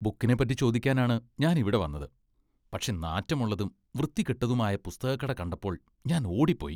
ബുക്കിനെപ്പറ്റി ചോദിക്കാനാണ് ഞാൻ ഇവിടെ വന്നത്, പക്ഷേ നാറ്റമുള്ളതും വൃത്തികെട്ടതുമായ പുസ്തകക്കട കണ്ടപ്പോൾ ഞാൻ ഓടിപ്പോയി.